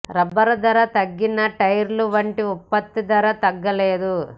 rubber ధర తగ్గినా టైర్ల వంటి ఉత్పత్తుల ధర తగ్గలేదు